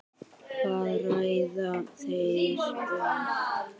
Hvað ræða þeir um?